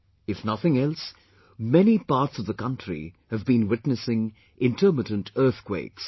if nothing else, many parts of the country have been witnessing intermittent earthquakes